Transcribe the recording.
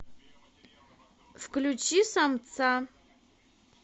включи самца